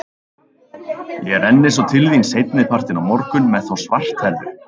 Ég renni svo til þín seinni partinn á morgun með þá svarthærðu.